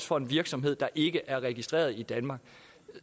for en virksomhed der ikke er registreret i danmark